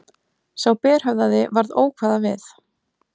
Sá berhöfðaði varð ókvæða við.